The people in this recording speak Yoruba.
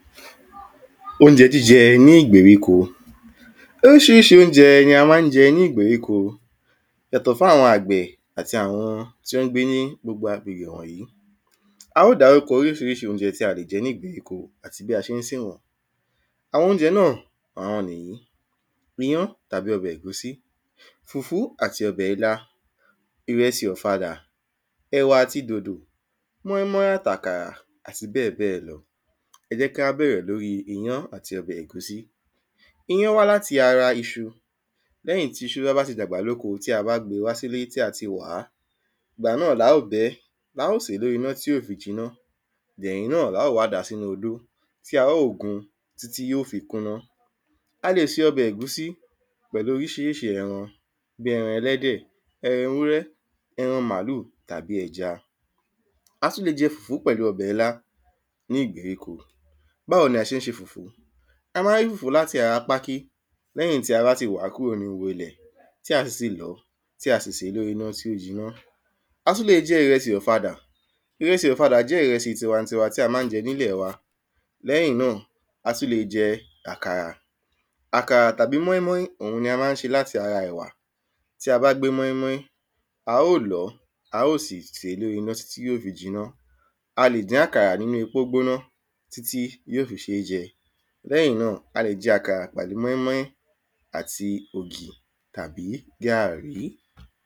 Óunjẹ jíjẹ ní ìgbèríko Oríṣiríṣi óunjẹ ni a má ń jẹ́ ní ìgbèríko Yàtọ̀ fún àwọn àgbẹ̀ ati àwọn t’ó ń gbé ní gbogbo abèrè wọ̀nyí A ó dárúkọ oríṣiríṣi óunjẹ tí a lè jẹ ní ìgbèríko àti bí a ṣé ń sè wọ́n Àwọn óunjẹ àwọn n'ìyí: iyán tàbí ọbẹ̀ ègúsí, fùfú àti ọbẹ̀ ilá, ìrẹsì ọ̀fadà, ẹ̀wà àti dòdò móín- móín at'àkàrà àti bẹ́ẹ̀ bẹ́ẹ̀ lọ. ẹ jẹ́ kí á bẹrẹ̀ l’órí iyán àti ọbẹ̀ ègúsí Iyán wá l’áti ara iṣu. L'ẹ́yìn t’íṣu bá ti dàgbà l’óko tí a bá gbe wá s'íle tí a ti wàá, Ìgbà náà l’a ó bẹ ẹ́, l'a ó sè l'órí iná tí ó fi jiná Ẹ̀yìn náà l'a ó wá dàá s'ínú odó ti a ó gun tí tí yó fi kúná A lè se ọbẹ̀ ẹ̀gúsí pẹ̀lú oríṣiríṣi ẹran bí ẹran ẹlẹ́dẹ̀, ẹran ewúrẹ́ ẹran màlúù tàbí ẹja A tú le jẹ fùfú pẹ̀lú ọbẹ̀ ilá ní ìgbèríko Báwo ni a ṣé ń ṣe fùfú? A má ń rí fùfú l’áti ara pákí l'ẹ́yìn tí a bá ti wàá kúrò ní ihò ilẹ̀ tí a sì ti lọ̀ọ́ tí a sì sè é l’órí iná tí ó jiná. A tú le jẹ ìrẹsì ọ̀fadà Ìrẹsì ọ̀fadà jẹ́ ìrẹsì tiwa-n-tiwa tí a má ń jẹ n’ílẹ̀ wa. L'ẹ́yìn náà, a tú le è jẹ àkàrà. Àkàrà tàbí móín- móín òun ni a má ń ṣe l’áti ara ẹ̀wà Tí a bá gbé móín- móín, a ó lọ̀ọ́, a ó sì sè é l’órí iná tí tí yó fi jiná A lè dín àkàrà n'ínú epo gbóná tí tí yó fi ṣé jẹ. L'ẹ́yìn náà, a lè jẹ àkàrà pẹ̀lú móín- móín àti ògì àbí gàrí.